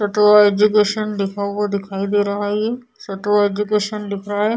सत्वा education लिखा हुआ दिखाई दे रहा है ये। सत्वा एजुकेशन लिख रहा है ।